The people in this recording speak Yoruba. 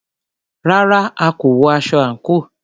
Rárá,a kò wọ aṣọ àńkò.